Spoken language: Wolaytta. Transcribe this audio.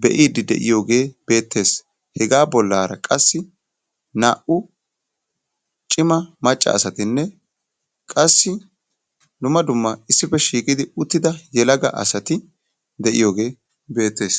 be'idde de'iyyode beettees; he bollara qassi naa"u cima macca asatinne qassi dumma dumma issippe shiiqidi uttida yelaga asati de'iyooge beettees.